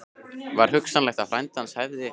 Var hugsanlegt að frændi hans hefði